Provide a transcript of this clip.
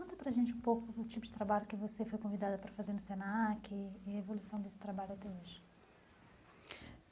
Conta para a gente um pouco do tipo de trabalho que você foi convidada para fazer no Senac e e a evolução desse trabalho até hoje.